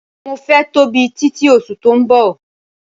Mo fẹ́ tóbi títi oṣù tó ń bọ̀.